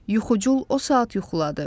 Yuxucul o saat yuxuladı.